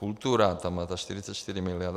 Kultura tam má za 44 miliard.